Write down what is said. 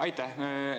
Aitäh!